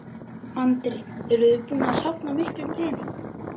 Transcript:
Andri: Eruð þið búin að safna miklum pening?